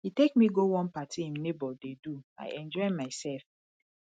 he take me go one party im neighbor dey do i enjoy myself